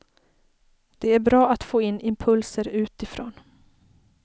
Det är bra att få in impulser utifrån.